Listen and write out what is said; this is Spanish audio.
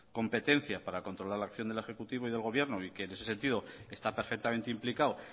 competencia para controlar la acción del ejecutivo y del gobierno y que en ese sentido está perfectamente implicado